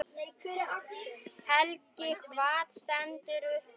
Helgi: Hvað stendur upp úr?